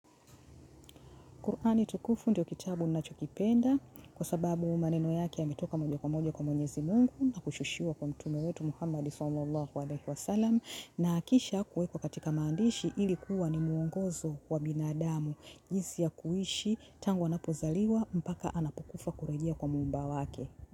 Kur'ani tukufu ndio kitabu ninachokipenda kwa sababu maneno yake yametoka moja kwa moja kwa mwenyezi Mungu na kushushiwa kwa mtume wetu Muhammad sallallahu wa 'alayhi sallam na kisha kuwekwa katika mandishi ilikuwa na muongozo wa binadamu jinsi ya kuishi tangu anapozaliwa mpaka anapokufa kurejia kwa muumba wake.